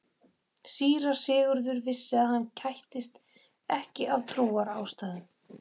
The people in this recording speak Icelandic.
Síra Sigurður vissi að hann kættist ekki af trúarástæðum.